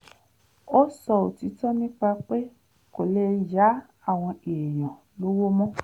ó sọ òtítọ́ nípa pé kò lè yá àwọn èèyàn lọ́wọ́ mọ́